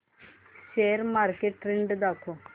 share market trend दाखव